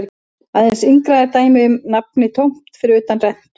Aðeins yngra er dæmið um nafnið tómt fyrir utan rentu.